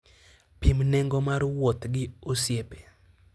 Pim nengo mar wuoth gi osiepe.